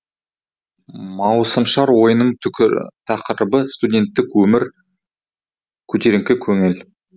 маусымашар ойынның тақырыбы студенттік өмір көтеріңкі көңіл